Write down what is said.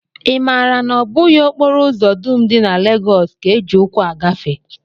I maara na ọ bụghị okporo ụzọ dum dị na Legọs ka e ji ụkwụ agafe?